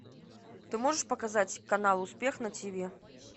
ты можешь показать канал успех на тв